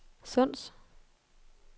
Sunds